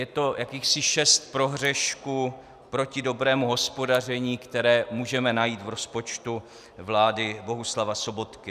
Je to jakýchsi šest prohřešků proti dobrému hospodaření, které můžeme najít v rozpočtu vlády Bohuslava Sobotky.